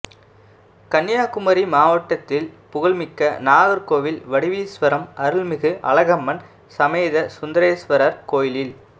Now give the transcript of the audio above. கன்னியாகுமரி மாவட்டத்தில் புகழ்மிக்க நாகா்கோவில் வடிவீஸ்வரம் அருள்மிகு அழகம்மன் சமேத சுந்தரேஸ்வரா் கோயிலில்